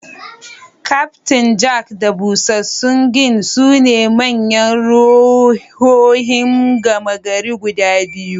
Kyaftin Jack da busassun gin sune manyan ruhohin gama gari guda biyu.